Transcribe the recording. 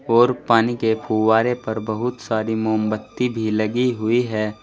और पानी के फुव्वारे पर बहुत सारी मोमबत्ती भी लगी हुई है।